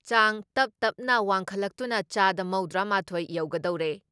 ꯆꯥꯡ ꯇꯞ ꯇꯞꯅ ꯋꯥꯡꯈꯠꯂꯛꯇꯨꯅ ꯆꯥꯗ ꯃꯧꯗ꯭ꯔꯥ ꯃꯥꯊꯣꯏ ꯌꯧꯒꯗꯧꯔꯦ ꯫